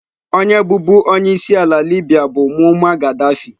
Onye bụbu onye isi ala Libya bụ Mummar Ghadaffi.